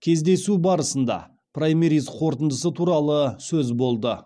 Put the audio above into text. кездесу барысында праймериз қорытындысы туралы сөз болды